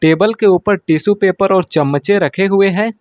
Table के ऊपर tissue paper और चम्मचे रखे हुए हैं।